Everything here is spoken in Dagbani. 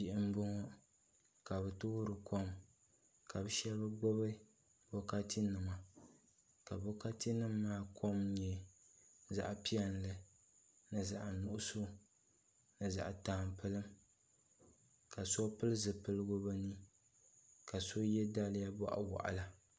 Bihi n boŋo ka bi toori kom ka bi shab gbubi bokati nima ka bokati nim maa kom nyɛ zaɣ piɛlli ni zaɣ nuɣso ni zaɣ tampilim ka so pili zipiligu bi ni ka so yɛ daliya boɣa waɣala